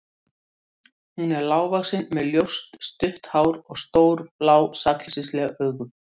Hún er lágvaxin með ljóst, stutt hár og stór, blá sakleysisleg augu.